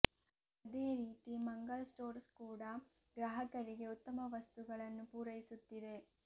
ಅದೇ ರೀತಿ ಮಂಗಲ್ ಸ್ಟೋರ್ಸ್ ಕೂಡಾ ಗ್ರಾಹಕರಿಗೆ ಉತ್ತಮ ವಸ್ತುಗಳನ್ನು ಪೂರೈಸುತ್ತಿದೆ